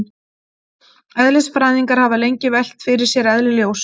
Eðlisfræðingar hafa lengi velt fyrir sér eðli ljóss.